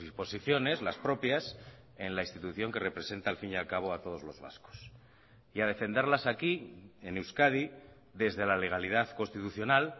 posiciones las propias en la institución que representa al fin y al cabo a todos los vascos y a defenderlas aquí en euskadi desde la legalidad constitucional